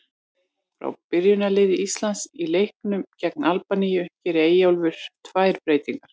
Frá byrjunarliði Íslands í leiknum gegn Albaníu gerir Eyjólfur tvær breytingar.